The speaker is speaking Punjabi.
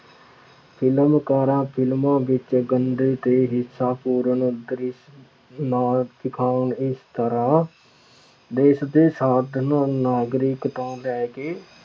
ਫਿਲਮਕਾਰਾਂ ਫਿਲਮਾਂ ਵਿੱਚ ਗੰਦੇ ਅਤੇ ਹਿੰਸਖੋਰਨ ਦ੍ਰਿਸ਼ ਨਾ ਦਿਖਾਉਣ। ਇਸ ਤਰ੍ਹਾਂ ਦੇਸ਼ ਦੇ ਸਾਧਨਾਂ, ਨਾਗਰਿਕ ਤੋਂ ਲੈ ਕੇ